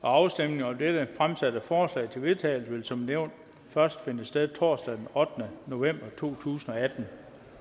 afstemning om det fremsatte forslag til vedtagelse vil som nævnt først finde sted torsdag den ottende november totusinde